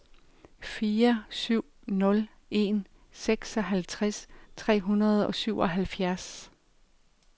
fire syv nul en seksoghalvtreds tre hundrede og syvoghalvfjerds